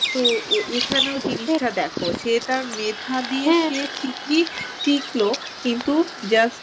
তো এখানেও জিনিসটা দেখো সে তার মেধা দিয়ে সে ঠিকই টিকল কিন্তু just